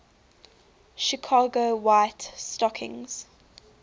chicago white stockings